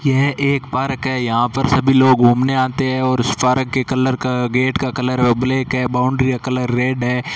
यह एक पार्क है यहां पर सभी लोग घूमने आते हैं और इस पार्क के कलर का गेट का कलर ब्लैक है बाउंड्री का कलर रेड है।